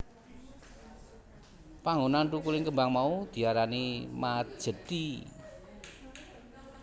Panggonan thukuling kembang mau diarani Majethi